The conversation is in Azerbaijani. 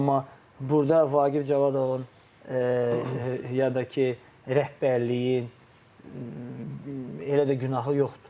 Amma burda Vaqif Cavadovun ya da ki rəhbərliyin elə də günahı yoxdur.